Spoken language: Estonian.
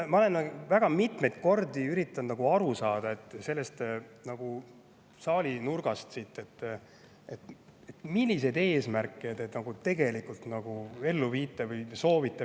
Ma olen väga mitmeid kordi üritanud aru saada sellest saali nurgast siin, milliseid eesmärke te tegelikult ellu viite või soovite.